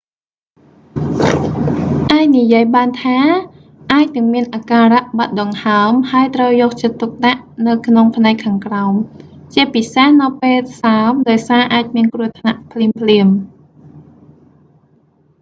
អាចនិយាយបានថា អាចនឹងមានអាការៈបាត់ដង្ហើម ហើយត្រូវយកចិត្តទុកដាក់នៅក្នុងផ្នែកខាងក្រោម ជាពិសេសនៅពេលសើម ដោយសារវាអាចមានគ្រោះថ្នាក់ភ្លាមៗ